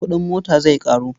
Kuɗin mota zai ƙaru.